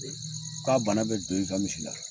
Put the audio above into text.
K'a bana bɛ don i ka misi la.